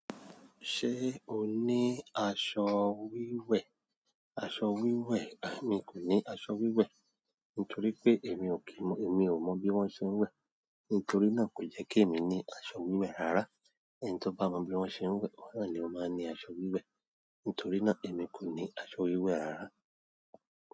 Ṣé o ní aṣọ wíwẹ̀? Aṣọ wíwẹ̀, mi kò ní aṣọ wíwẹ̀. Nítorí pé èmi ò kí mọ̀, èmi ò mọ bí wọ́n ṣe ń wẹ̀ nítorí náà kò jẹ́ kí èmi ní aṣọ wíwẹ̀ rárá. Ẹni tó bá mọ bí wọ́n ṣe ń wẹ̀, ọ̀ọ́rà ni ó máa ní aṣọ wíwẹ̀. Nítorí náà èmi kò ní aṣọ wíwẹ̀ rárá.